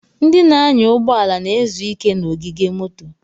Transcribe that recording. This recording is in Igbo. Ndị na-anya ụgbọ ala na-ezu ike n'ogige moto.